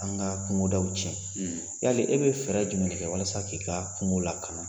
An ka kungoda tiɲɛ, yala e bɛ fɛɛrɛ jumɛn kɛ walasa k'i ka kungo lakana